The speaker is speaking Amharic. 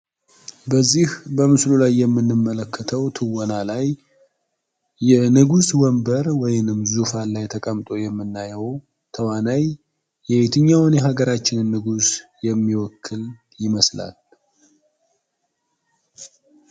በዚህ በምስሉ ላይ የምንመለከተዉ ትወና ላይ የንጉስ ወንበር ወይም ዙፋን ላይ ተቀምጦ የሚተዉነዉ ተዋናይ የየትኛዉን የአገራችን ንጉስ ይመስላል?